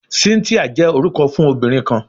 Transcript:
Cynthia jẹ orukọ fun obinrin kan